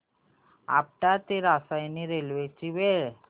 आपटा ते रसायनी रेल्वे ची वेळ